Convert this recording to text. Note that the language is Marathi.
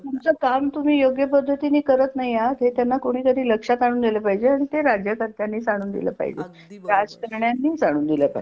तुमच काम तुम्ही योग्य पद्धतीने करत नाही आहात हे त्यांना कोणीतरी लक्षात आणून दिल पाहिजे आणि ते राज्यकर्त्यांनीच आणून दिल पाहिजे अगदी बरोबर राजकारण्यानीच आणून दिल पाहिजे.